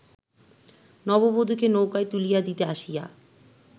নববধূকে নৌকায় তুলিয়া দিতে আসিয়া